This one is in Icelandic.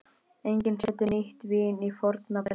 Enginn setur nýtt vín á forna belgi.